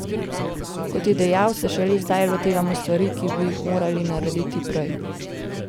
Kot je dejal, se šele zdaj lotevamo stvari, ki bi jih morali narediti prej.